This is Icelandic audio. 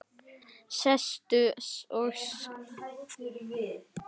Sestu og slakaðu á.